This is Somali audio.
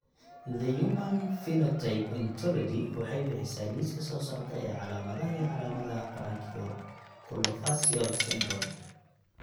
The Human Phenotype Ontology waxay bixisaa liiska soo socda ee calaamadaha iyo calaamadaha Branchiooculofacial syndrome.